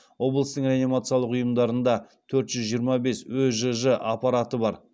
облыстың медициналық ұйымдарында төрт жүз жиырма бес өжж аппараты бар